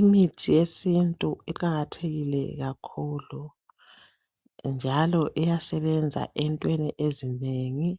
imithi yesintu iqakathekile kakhulu njalo iyasebenza entweni ezinengi